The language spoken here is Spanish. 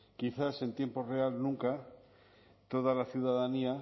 quizás en tiempo real nunca toda la ciudadanía